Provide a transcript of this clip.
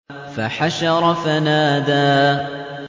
فَحَشَرَ فَنَادَىٰ